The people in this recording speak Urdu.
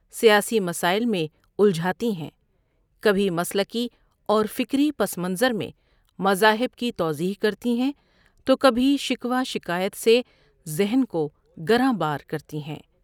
سیاسی مسائل میں الجھاتی ہیں، کبھی مسلکی اور فکری پس منظر میں مذاہب کی توضیح کرتی ہیں تو کبھی شکوہ شکایت سے ذہن کو گراں بار کرتی ہیں۔